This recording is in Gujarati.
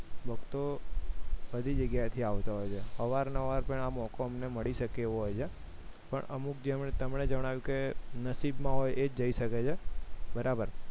ભક્તો બધી જગ્યાએથી આવતા હોય છે અવનવાર પણ આ મોકો એમને મળી શકે એવો હોય છે પણ અમુક જે તમે જણાવ્યું કે નસીબમાં એ જ જઈ શકે છે બરોબર